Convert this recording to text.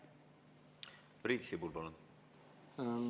Priit Sibul, palun!